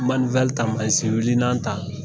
ta manzin wilinan ta.